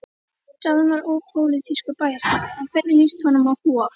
Ráðinn var ópólitískur bæjarstjóri, en hvernig líst honum á Hof?